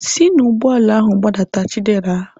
Si n'ụgbọala ahu gbadata Chidera!